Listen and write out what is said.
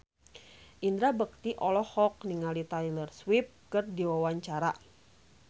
Indra Bekti olohok ningali Taylor Swift keur diwawancara